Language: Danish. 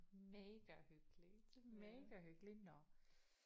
Mega hyggeligt mega hyggeligt nåh